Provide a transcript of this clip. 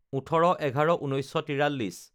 ১৮/১১/১৯৪৩